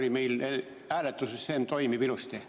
Kas meie hääletussüsteem toimib ilusti?